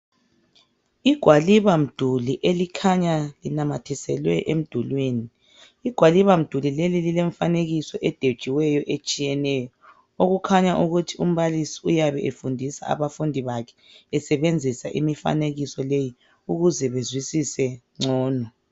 Igwaliba mduli elikhanya linamathiselwe emdulwini. Igwaliba mduli leli lilemfanekiso edwetshiweyo etshiyeneyo okukhanya ukuthi umbalisi uyabe efundisa abafundi bakhe esebenzisa imifanekiso leyi ukuze bezwisise ngcono.